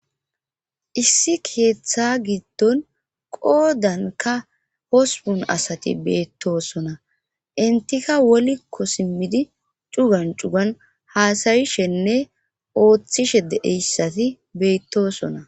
issi keeththa giddon qoodanka hospun asati beettosona intika wolikko simmidi cugan cugan haasayishenne ooththishe deeyssati beyttosona